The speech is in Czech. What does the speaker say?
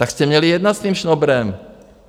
Tak jste měli jednat s tím Šnobrem.